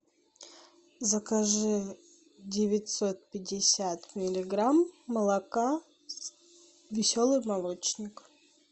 закажи девятьсот пятьдесят миллиграмм молока веселый молочник